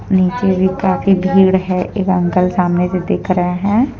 नीचे भी काफी भीड़ है एक अंकल सामने से देख रहे हैं।